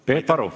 Peep Aru.